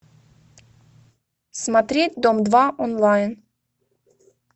смотреть дом два онлайн